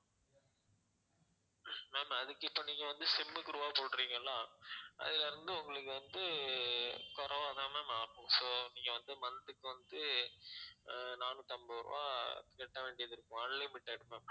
ma'am அதுக்கு இப்ப நீங்க வந்து sim க்கு ரூபாய் போடறீங்க இல்ல அதுல இருந்து உங்களுக்கு வந்து குறைவா தான் ma'am ஆகும் so நீங்க வந்து month க்கு வந்து அஹ் நானூத்தி ஐம்பது ரூபாய் கட்ட வேண்டியது இருக்கும் unlimited ma'am